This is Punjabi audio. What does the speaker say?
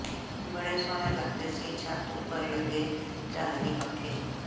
ਬੜੇ ਸੋਹਣੇ ਲਗਦੇ ਸੀ ਛੱਤ ਉਪਰ ਲੱਗੇ ਝਾਲਰੀ ਪੱਖੇ